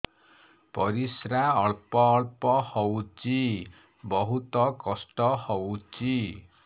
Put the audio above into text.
ପରିଶ୍ରା ଅଳ୍ପ ଅଳ୍ପ ହଉଚି ବହୁତ କଷ୍ଟ ହଉଚି